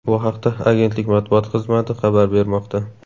Bu haqda agentlik matbuot xizmati xabar bermoqda .